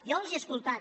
jo els he escoltat